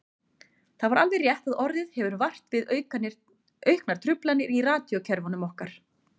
Það er alveg rétt að orðið hefur vart við auknar truflanir í radíókerfunum okkar.